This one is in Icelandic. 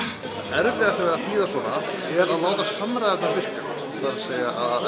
erfiðasta við að þýða svona er að láta allar samræðurnar virka það er að